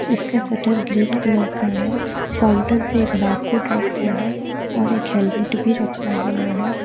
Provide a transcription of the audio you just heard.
इसका shutter green colour का है काउंटर पर एक बार कोड रखा है और एक हेलमेट भी रखा हुआ है।